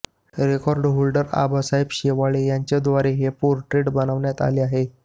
record holder Abasaheb Shewale यांच्याद्वारे हे portrait बनवण्यात आले आहे